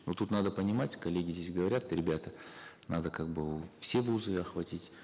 но тут надо понимать коллеги здесь говорят ребята надо как бы все вузы охватить